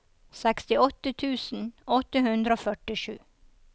sekstiåtte tusen åtte hundre og førtisju